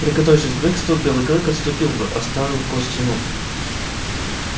приготовившийся к бегству белый клык отступил бы оставив кость ему